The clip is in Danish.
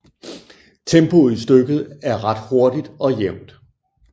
Tempoet i stykket er ret hurtigt og jævnt